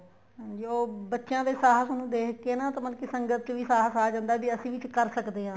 ਹਾਂਜੀ ਉਹ ਬੱਚਿਆ ਦੇ ਸ਼ਾਸ ਨੂੰ ਦੇਖਕੇ ਨਾ ਮਤਲਬ ਕੀ ਸੰਗਤ ਚ ਵੀ ਸ਼ਾਸ ਆ ਜਾਂਦਾ ਏ ਵੀ ਅਸੀਂ ਵੀ ਕਰ ਸਕਦੇ ਹਾਂ